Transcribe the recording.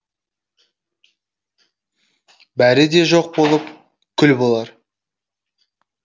бәрі де жоқ болып күл болар